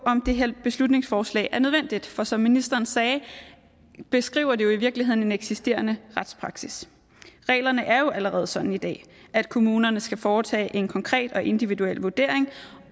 om det her beslutningsforslag er nødvendigt for som ministeren sagde beskriver det jo i virkeligheden en eksisterende retspraksis reglerne er jo allerede sådan i dag at kommunerne skal foretage en konkret og individuel vurdering